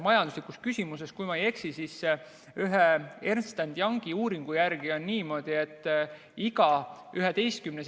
Majanduslikus küsimuses, kui ma ei eksi, siis ühe Ernst & Youngi uuringu järgi on iga 11.